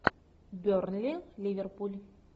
бернли ливерпуль